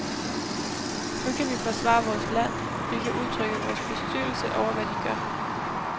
Nu kan vi forsvare vores land, vi kan udtrykke vores bestyrtelse over, hvad de gør.